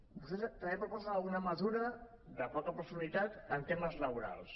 vostès també proposen alguna mesura de poca profunditat en temes laborals